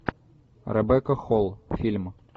ребекка холл фильм